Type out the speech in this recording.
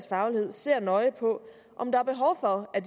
faglighed ser nøje på om der er behov for at